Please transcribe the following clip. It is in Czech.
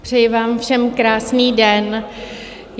Přeji vám všem krásný den.